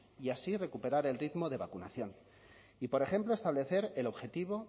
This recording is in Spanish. y así recuperar el ritmo de vacunación y por ejemplo establecer el objetivo